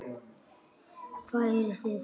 Hvaðan eruð þið?